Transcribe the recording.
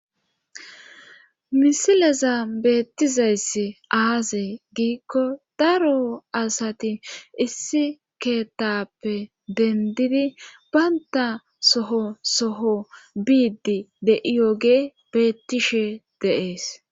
misileza beettizayssi aazey giikko daro asati issi keettappe dendidi baynta soho soho biidi de7iyooge beettishe deees